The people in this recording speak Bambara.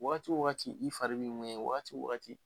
Wagati wo wagati , i fari b'i ɲɔɲɛ, wagati wagati